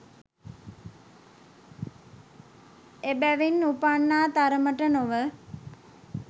එබැවින් උපන්නා තරමට නොව,